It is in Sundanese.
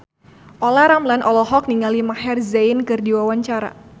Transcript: Olla Ramlan olohok ningali Maher Zein keur diwawancara